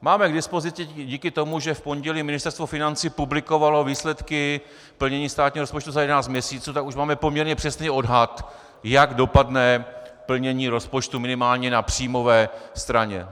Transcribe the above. Máme k dispozici díky tomu, že v pondělí Ministerstvo financí publikovalo výsledky plnění státního rozpočtu za jedenáct měsíců, tak už máme poměrně přesný odhad, jak dopadne plnění rozpočtu minimálně na příjmové straně.